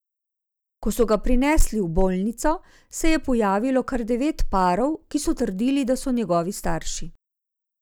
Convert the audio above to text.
Ko so ga prinesli v bolnico, se je pojavilo kar devet parov, ki so trdili, da so njegovi starši.